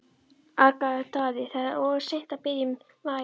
argaði Daði,-það er orðið of seint að biðja um vægð.